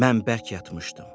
Mən bərk yatmışdım.